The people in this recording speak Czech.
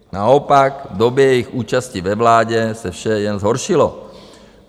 Naopak v době jejich účasti ve vládě se vše jen zhoršilo.